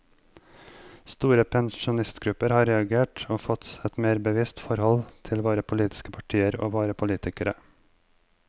Store pensjonistgrupper har reagert og fått et mer bevisst forhold til våre politiske partier og våre politikere.